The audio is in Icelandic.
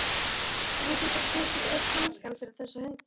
Hvernig geturðu tekið upp hanskann fyrir þessa hunda?